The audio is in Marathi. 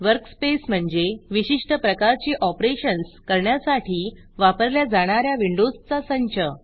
वर्कस्पेस म्हणजे विशिष्ट प्रकारची ऑपरेशन्स करण्यासाठी वापरल्या जाणा या विंडोजचा संच